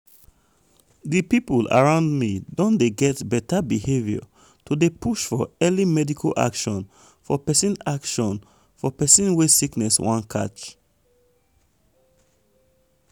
di people around me don dey get beta behavior to dey push for early medical action for persin action for persin wey sickness wan catch.